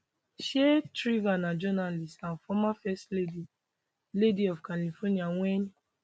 um shriver na journalist and former first lady lady of california wen